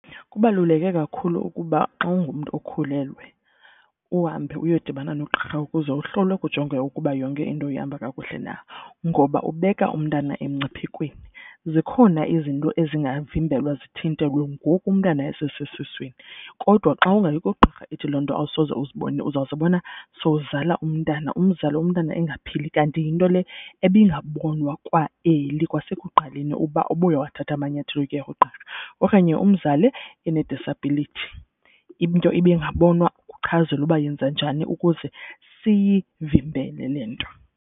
Kubaluleke kakhulu ukuba xa ungumntu okhulelwe uhambe uyodibana nogqirha ukuze uhlolwe kujongwe ukuba yonke into ihamba kakuhle na ngoba ubeka umntana emngciphekweni. Zikhona izinto ezingavimbelwa zithintelwe ngoku umntana esesesiswini kodwa xa ungayi kugqirha ithi loo nto awusoze uzibone. Uzawuzibona sowuzala umntana umzale umntana engaphili. Kanti yinto le ebingabonwa kwa-early kwasekuqaleni uba ubuye wathatha amanyathelo okuya kugqirha okanye umzali ene-disability into ibingabonwa uchazelwe uba yenza njani ukuze siyivimbele le nto.